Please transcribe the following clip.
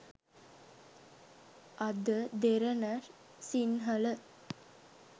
ada derana sinhala